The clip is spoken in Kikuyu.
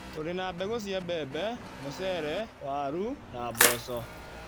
Tũrĩ na mbegũ cia mbembe, mũcere, waru na mboco.